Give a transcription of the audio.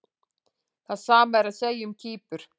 Það sama er að segja um Kýpur.